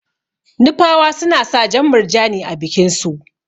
Nupawa suna sa jan murjani a bikin su.